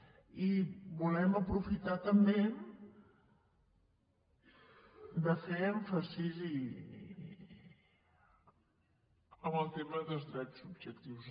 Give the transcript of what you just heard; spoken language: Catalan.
i volem aprofitar també de fer èmfasi en el tema dels drets subjectius